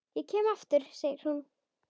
Ég kem aftur, segir hún.